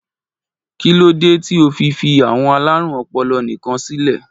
Kí ló dé tí ó fi fí àwọn alárùn ọpọlọ nìkan sílè?